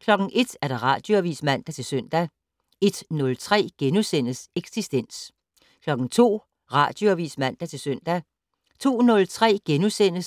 01:00: Radioavis (man-søn) 01:03: Eksistens * 02:00: Radioavis (man-søn) 02:03: